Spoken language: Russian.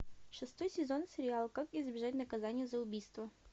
шестой сезон сериала как избежать наказания за убийство